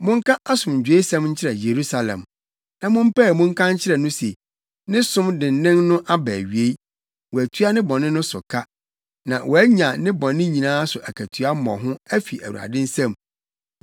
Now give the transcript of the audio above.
Monka asomdwoesɛm nkyerɛ Yerusalem, na mompae mu nka nkyerɛ no se ne som dennen no aba awiei, wɔatua ne bɔne no so ka, na wɔanya ne bɔne nyinaa so akatua mmɔho afi Awurade nsam.